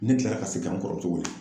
Ne kilara ka segin k'an kɔrɔmuso wele.